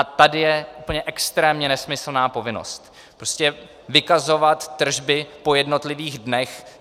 A tady je úplně extrémně nesmyslná povinnost - prostě vykazovat tržby po jednotlivých dnech.